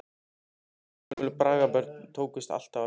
Jafnvel ársgömlum braggabörnum tókst alltaf að bjarga.